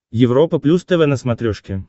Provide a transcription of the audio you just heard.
европа плюс тв на смотрешке